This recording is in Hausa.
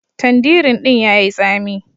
Tandirin din ya yi tsami.